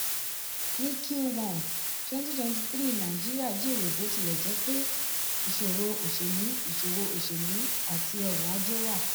ní q1 2023 nàìjíríà jèrè bó tilẹ̀ jẹ́ pé ìṣòro oselú ìṣòro oselú àti ọrọ̀ ajé wà.